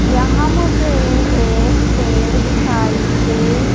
यहां मुझे ये एक पेड़ दिखाई दे--